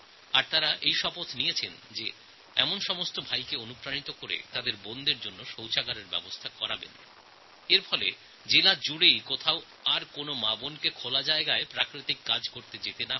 আর তাঁরা দায়িত্ব নিয়েছেন যে রাখীবন্ধন উৎসবের মধ্যেই যাতে এইভাবে সব ভায়েরা তাঁদের বোনদের শৌচালয় দেন আর গোটা জেলার কোনও মাবোনকে যেন খোলা জায়গায় শৌচকর্ম করতে যেতে না হয়